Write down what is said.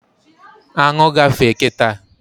Aṅụ gafee kịta